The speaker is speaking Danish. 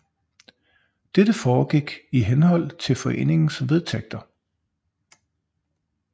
Dette foregik i henhold til foreningens vedtægter